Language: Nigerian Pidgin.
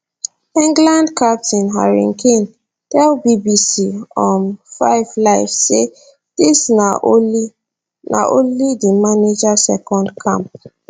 england captain harry kane tell bbc um 5 live say dis na only na only di manager second camp